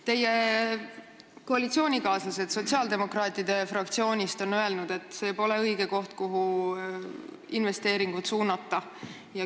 Teie koalitsioonikaaslased sotsiaaldemokraatide fraktsioonist on öelnud, et see pole õige koht, kuhu investeeringuid suunata.